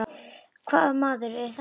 Hvaða maður er þetta?